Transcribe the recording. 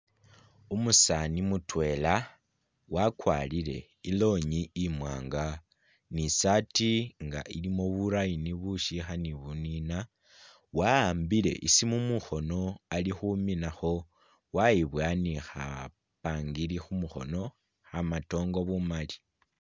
Umusaani mutwela wakwarire i'longi imwaanga ni i'saati nga ilimo bu line bushiha ni buniina, wa'ambile i'siimu mukhoono ali khuminakho, wayiboha ni khapangiri khu mukhono khamatongo bumaali.